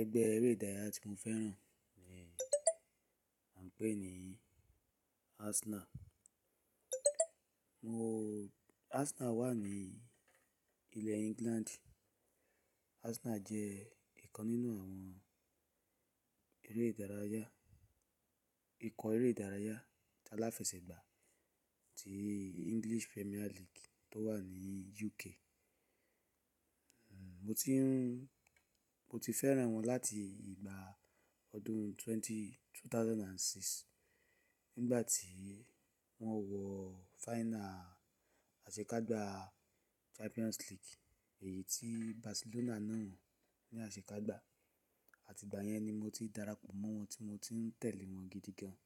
Ẹgbẹ́ eré ìdárayá tí mo fẹ́ràn ni à ń pè ní Arsenal. Mo-- Arsenal wà ní ilẹ̀ England. Arsenal jẹ́ ìkan nínú àwọn eré ìdárayá, ikọ̀ eré ìdárayá aláfẹsẹ̀gbá ti English Premier League tó wà ní UK. Mo ti ń, mo ti fẹ́ràn wọn láti ìgbà ọdún twenty-- 2006 nígbà tí wọ́n wọ final àṣekágbá Champions League èyí tí Barcelona náwon ni àṣekágbá. Àti ìgbà yẹn ni mo ti darapọ̀ mọ́ wọn tí mo ti ń tẹ̀lé wọn gidi gan.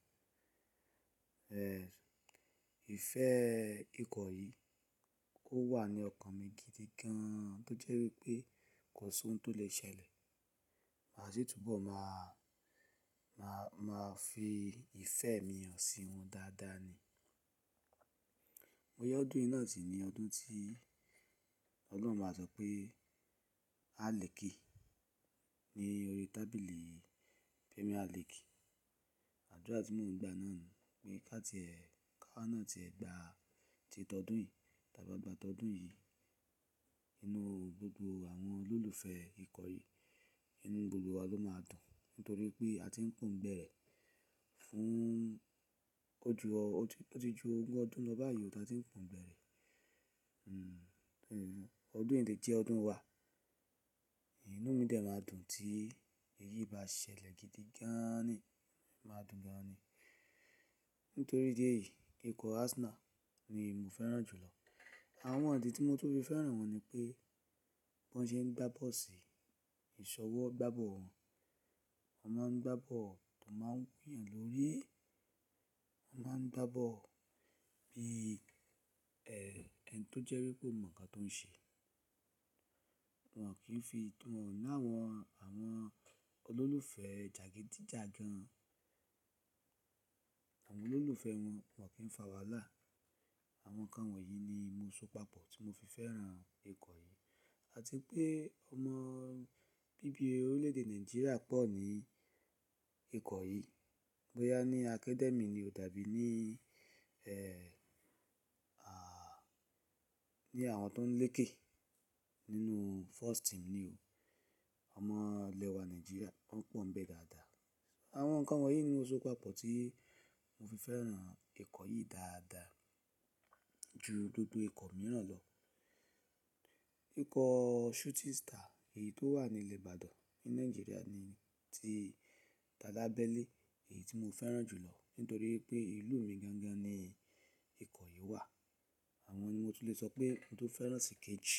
Ìfẹ́ ikọ̀ yìí ò wà ní ọkàn mi gidi gan tó jẹ́ wípé kò sí ohun tó lè ṣẹlẹ̀ máa ṣi túbọ̀ máa, máa, máa fi ìfẹ́ mi hàn sí wọn dáadáa ni. Bo ya ọdún yìí náà sì ní ọdún tí Ọlọ́run máa sọ pé a lè kí ni orí tábìlì Premier League. Àdúrà tí mò ń gba náà niyen pé ká tí ẹ, ká wa náà o tí ẹ gbá tí tọ́ ọdún yìí, ta bá gba tọ́ ọdún yìí, inú gbogbo àwọn olólùfẹ́ ikọ̀ yìí, inú gbogbo wa ló máa dùn nítorí pé a ti ń pọ̀ǹgbẹ́ rẹ̀ fún ojú ọ, ojú, o ti jú ogún ọdún lọ ba yìí tí a ti ń pọ̀ǹgbẹ́ rẹ̀. Ọdún yìí le je ọdún wà, inú mi de máa dùn tí èyí bá ṣẹlẹ̀ gidi gaaani, máa dùn gan ni. Nítorí idi eyìí ikọ̀ Arsenal ni emi fẹ́ràn jù lọ. Àwọn ìdí tí mo tun fi fẹ́ràn wọn ni pé bi wọ́n ṣe ń gba bọ́ọ̀sì, ìṣọwọ́gbá bọ́ọ̀ wọn, tọ́ n bá ń gba bọ́ọ̀ ó máa ń wuyàn lórí, wọ́n máa ń gba bọ́ọ̀ bí, ẹni tó jẹ́ wípé ó mọ̀ nǹkan tó ń ṣe. Wọn kì í fi won o làwọn, àwọn olólùfẹ́ jagidijagan. Àwọn olólùfẹ́ wọn wọ́n kì í fa wàhálà. Àwọn nǹkan wọ̀nyí ni mo so papọ̀ tí mo fi fẹ́ràn ikọ̀ yìí. Àti pé ọmọ bí bi orílẹ̀ èdè Nigeria pọ̀ ní ikọ̀ yìí. Bóyá ní academy ni o tàbí ní, ní àwọn tó ń lékè nínú first team ni o. Ọmọ ilẹ̀ wa Nigeria wọ́n pọ̀ǹ n bẹ́ dáadáa. Àwọn nǹkan wọ̀nyí ni mo so papọ̀ tí mo fi fẹ́ràn ikọ̀ yìí dáadáa ju gbogbo ikọ̀ mìíràn lọ. Ikọ̀ Shooting Star èyí tó wà ní ìle Ìbàdàn ní Nàìjíríà ni ti talabẹ́lẹ̀ èyí tí mo fẹ́ràn jù lọ nítorí wípé ìlú mi gangan ni ikọ̀ yìí wà. Àwọn ni mo tun lè sọ pé mo tun fẹ́ràn sí kéjì.